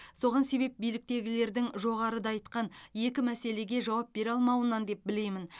соған себеп биліктегілердің жоғарыда айтқан екі мәселеге жауап бере алмауынан деп білемін